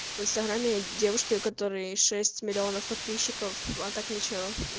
в инстаграме девушке у которой шесть млн подписчиков а так ничего